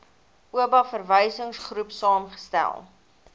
oba verwysingsgroep saamgestel